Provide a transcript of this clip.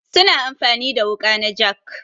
Su na amfani da wuƙa na jak.